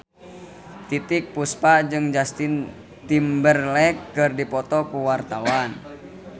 Titiek Puspa jeung Justin Timberlake keur dipoto ku wartawan